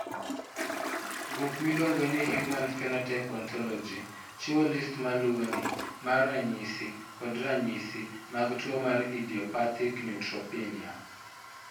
Buk miluongo ni Human Phenotype Ontology chiwo list ma luwoni mar ranyisi kod ranyisi mag tuo mar Idiopathic neutropenia.